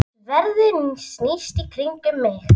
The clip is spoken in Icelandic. Sverðið snýst í kringum mig.